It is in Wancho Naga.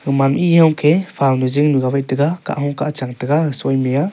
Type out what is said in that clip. gaman ma e yong ke phau nu jing nu ga wai tega kahung kahchang tega ga suime ya